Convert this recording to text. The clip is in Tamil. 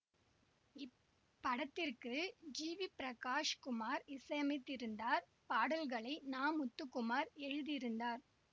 இப்படத்திற்கு ஜி வி பிரகாஷ் குமார் இசையமைத்திருந்தார் பாடல்களை நா முத்துகுமார் எழுதியிருந்தார்